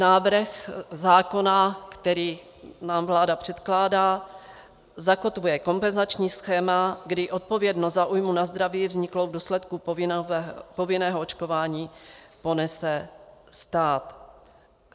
Návrh zákona, který nám vláda předkládá, zakotvuje kompenzační schéma, kdy odpovědnost za újmu na zdraví vzniklou v důsledku povinného očkování ponese stát.